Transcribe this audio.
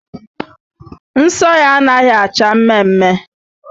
Nsọ ya anaghị acha mmemme